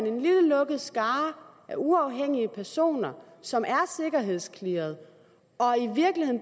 en lille lukket skare af uafhængige personer som er sikkerhedsclearede